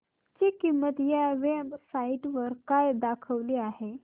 ची किंमत या वेब साइट वर काय दाखवली आहे